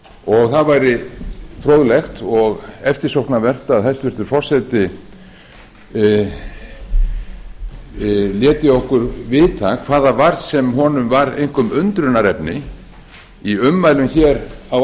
og það væri fróðlegt og eftirsóknarvert að hæstvirtur forseti léti okkur vita hvað það var sem honum var einkum undrunarefni í ummælum á